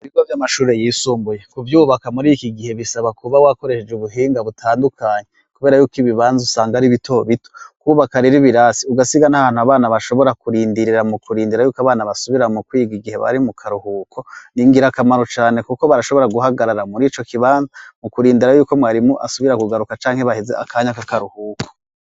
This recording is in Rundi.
Ibigo vy'amashuri yisumbuye ku vyubaka muri iki gihe bisaba kuba wakoresheje ubuhinga butandukanyi, kubera yuko ibibanza usanga ari bito bito kwubaka riri birasi ugasiga n'ahantu abana bashobora kurindirira mu kurindira yuko abana basubira mu kwigwa igihe bari mu karuhuko ni ngira akamaro cane, kuko barashobora guhagarara muri co kibanza mu kurindira yuko mwarimu asubira kugaruka canke baheze akanya k'akaruhuko.